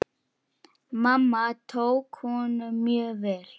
Mamma tók honum mjög vel.